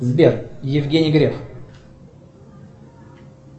сбер евгений греф